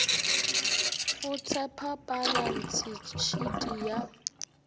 go tshepa balantshe shiti ya